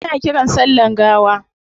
Ana kiran sa sallan gawa